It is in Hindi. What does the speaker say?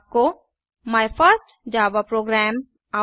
आपको माय फर्स्ट जावा program